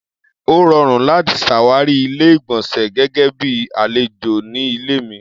Ó rọrùn láti ṣàwárí Ilé-ìgbọ̀nsẹ̀ gẹ́gẹ́ bíi àlejò ní ilé mi.